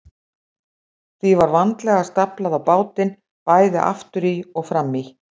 Því var vandlega staflað á bátinn, bæði aftur í og fram í.